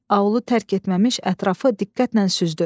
Aulu tərk etməmiş ətrafı diqqətlə süzdü.